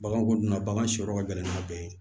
Bagan kɔni na bagan si yɔrɔ ka gɛlɛn n'a bɛɛ ye